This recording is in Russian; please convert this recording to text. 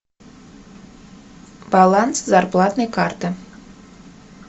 баланс зарплатной карты